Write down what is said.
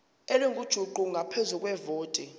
elingujuqu ngaphezu kwevoti